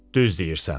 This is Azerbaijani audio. Düz deyirsən.